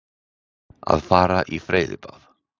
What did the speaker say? Að fara í freyðibað.